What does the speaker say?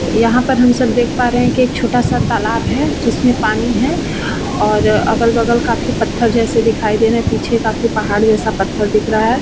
यहाँ पे हम सब देख पा रहे है की एक छोटा सा तालाब है जिसमे पानी है और अगल-बगल काफी पत्थर जैसे दिखाई दे रहे है पीछे काफी पहाड़ जैसा पत्थर दिखा रहा है ।